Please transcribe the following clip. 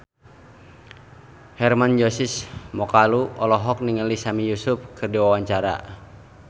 Hermann Josis Mokalu olohok ningali Sami Yusuf keur diwawancara